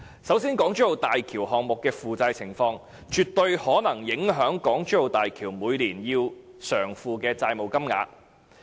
首先，港珠澳大橋項目的負債情況，絕對可能影響港珠澳大橋每年要償付的債務金額。